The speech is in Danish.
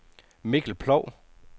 Mikkel Ploug